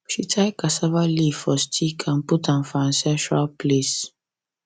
she tie cassava leaf for stick and put am for ancestral place